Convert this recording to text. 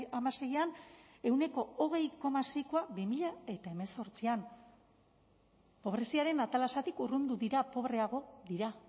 hamaseian ehuneko hogei koma seikoa bi mila hemezortzian pobreziaren atalasetik urrundu dira pobreago dira